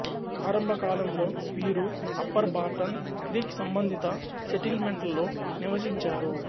ఆరంభకాలంలో వీరు upper Barton Creek సంబంధిత సెటిల్మెంట్లలో నివసించారు